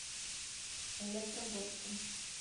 электрогорском